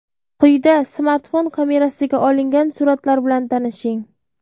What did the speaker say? Quyida smartfon kamerasiga olingan suratlar bilan tanishing.